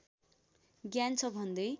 ज्ञान छ भन्दै